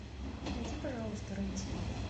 найди пожалуйста рен тв